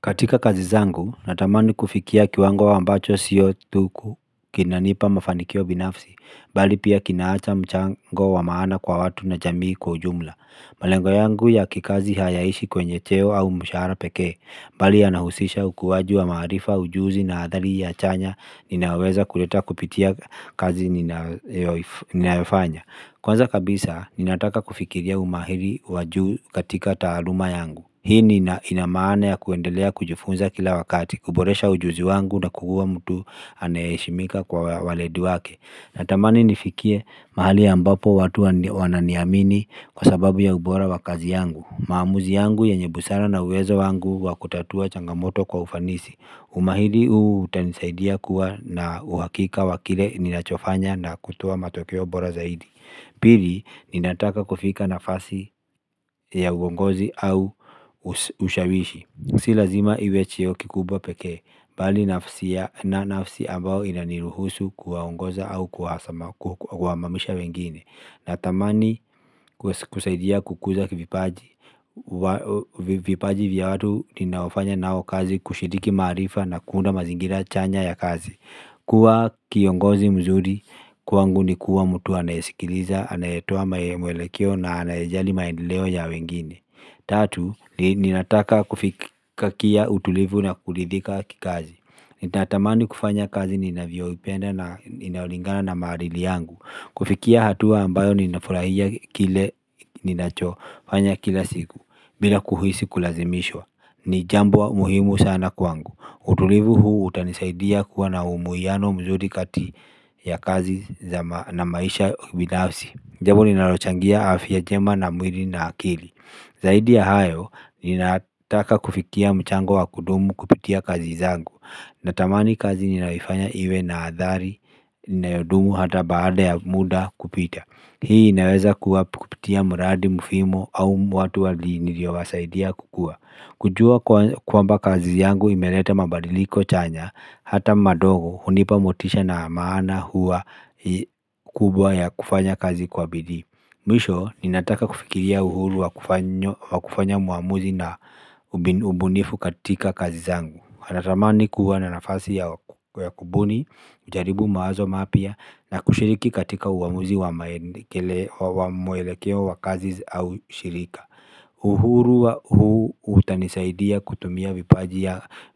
Katika kazi zangu, natamani kufikia kiwango ambacho sio thuku kinanipa mafanikio binafsi, mbali pia kinaacha mchango wa maana kwa watu na jamii kwa ujumla. Malengo yangu ya kikazi hayaishi kwenye cheo au mshahara peke, mbali yanahusisha ukuwaji wa maaarifa ujuzi na adhali ya chanya inayoweza kuleta kupitia kazi ninayofanya. Kwanza kabisa, ninataka kufikiria umahiri wajuu katika taaluma yangu Hii ina maana ya kuendelea kujifunza kila wakati, kuboresha ujuzi wangu na kuua mtu anayeheshimika kwa waledi wake Natamani nifikie mahali ambapo watu wananiamini kwa sababu ya ubora wa kazi yangu maamuzi yangu yenye busara na uwezo wangu wa kutatua changamoto kwa ufanisi Umahiri huu utanisaidia kuwa na uwakika wa kile ninachofanya na kutoa matokeo bora zaidi pili, ninataka kufika nafasi ya uongozi au ushawishi si lazima iwe cheo kikubwa pekee mbali na nafsi ambao inaniruhusu kuwaongoza au kuhamamisha wengine natamani kusaidia kukuza vipaji vipaji vya watu ninaofanya nao kazi kushiriki maarifa na kuunda mazingira chanya ya kazi kuwa kiongozi mzuri, kwangu ni kuwa mtu anayesikiliza, anayetoa mwelekeo na anayejali maendeleo ya wengine Tatu, ninataka kufikia utulivu na kuridhika kikazi nitatamani kufanya kazi ninavyoipenda na inaolingana na maadili yangu kufikia hatua ambayo ninafurahia kile ninacho fanya kila siku bila kuhisi kulazimishwa, ni jambo muhimu sana kwangu utulivu huu utanisaidia kuwa na umuiano mzuri kati ya kazi na maisha binafsi jambo linalochangia afya njema na mwili na akili Zaidi ya hayo ninataka kufikia mchango wa kudumu kupitia kazi zangu Natamani kazi ninayoifanya iwe na athari inayodumu hata baada ya muda kupita hii inaweza kuwa kupitia mradi mfimo au watu niliowasaidia kukua kujua kwamba kazi yangu imelete mabadiliko chanya hata madogo hunipa motisha na maana huwa kubwa ya kufanya kazi kwa bidii Mwisho ninataka kufikiria uhuru wa kufanya muamuzi na ubunifu katika kazi zangu natamani kuwa na nafasi ya kubuni, nijaribu mawazo mapya na kushiriki katika uamuzi wa mwelekeo wa kazi au shirika uhuru wa huu utanisaidia kutumia vipaji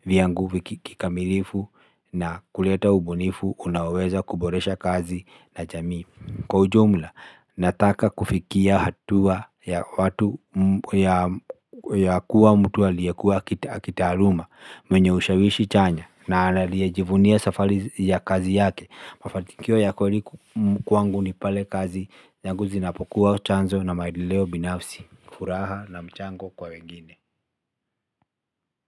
vyangu kikamilifu na kuleta ubunifu unaweza kuboresha kazi na jamii Kwa ujumla nataka kufikia hatua ya watu ya kuwa mtu aliyekua kitaaruma mwenye ushawishi chanya na anayejivunia safari ya kazi yake mafanikio ya kweli kwangu ni pale kazi zangu zinapokuwa chanzo na maendeleo binafsi furaha na mchango kwa wengine.